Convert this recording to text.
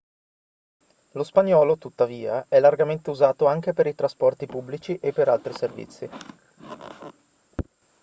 lo spagnolo tuttavia è largamente usato anche per i trasporti pubblici e per altri servizi